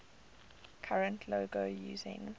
current logo using